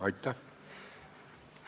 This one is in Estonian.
Aitäh!